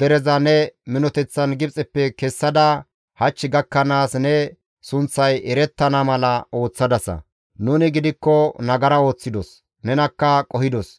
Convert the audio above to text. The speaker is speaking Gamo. dereza ne minoteththan Gibxeppe kessada hach gakkanaas ne sunththay erettana mala ooththadasa; nuni gidikko nagara ooththidos; nenakka qohidos.